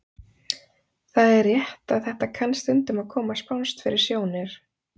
Það er rétt að þetta kann stundum að koma spánskt fyrir sjónir.